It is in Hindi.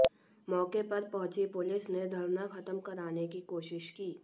मोके पर पहुंची पुलिस ने धरना खत्म कराने की कोशिश की